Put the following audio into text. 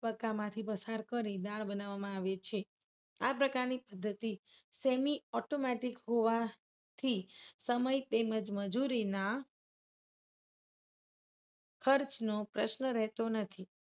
તબક્કામાંથી પસાર કરી દાળ બનાવવામાં આવે છે. આ પ્રકારની પદ્ધતિ semi automatic હોવા થી સમય તેમજ મજૂરીના ખર્ચનો પ્રશ્ન રહેતો નથી.